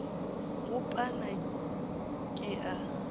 go a pala ke a